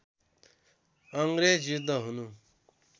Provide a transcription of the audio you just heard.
अङ्ग्रेज युद्ध हुनु